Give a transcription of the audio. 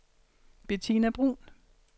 Betina Bruun